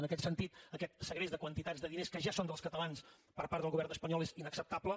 en aquest sentit aquest segrest de quantitats de diners que ja són dels catalans per part del govern espanyol és inacceptable